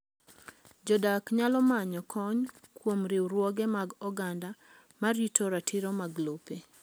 Jodak nyalo manyo kony kuom riwruoge mag oganda ma rito ratiro mag lope.